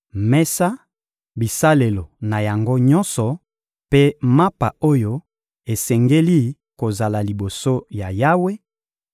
mesa, bisalelo na yango nyonso mpe mapa oyo esengeli kozala liboso ya Yawe;